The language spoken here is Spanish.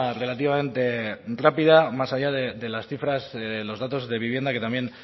relativamente rápida más allá de las cifras los datos de vivienda que también